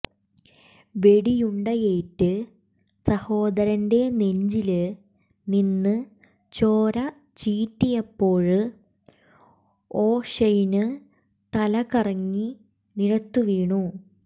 വെടിയുണ്ടയേറ്റ് സഹോദരന്റെ നെഞ്ചില് നിന്ന് ചോര ചീറ്റിയപ്പോള് ഒഷെയ്ന് തലകറങ്ങി നിലത്തുവീണു